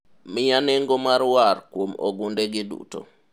miya nengo mar war kuom ogunde gi duto